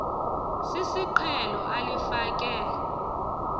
sisiqhelo ali fake